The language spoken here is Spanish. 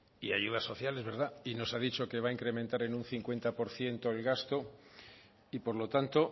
y ayudas sociales y nos ha dicho que va a incrementar en un cincuenta por ciento el gasto y por lo tanto